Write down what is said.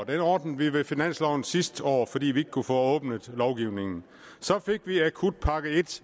blev ordnet med finansloven sidste år fordi vi ikke kunne få åbnet lovgivningen så fik vi akutpakke i